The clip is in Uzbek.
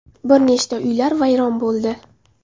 Bir nechta uylar vayron bo‘ldi.